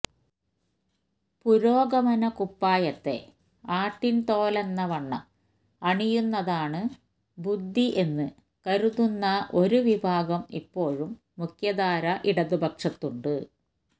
പുരോഗമനകുപ്പായത്തെ ആട്ടിൻതോലെന്നവണ്ണം അണിയുന്നതാണ് ബുദ്ധി എന്ന് കരുതുന്ന ഒരു വിഭാഗം ഇപ്പോഴും മുഖ്യധാരാ ഇടതുപക്ഷത്തുണ്ട്